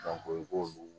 i b'olu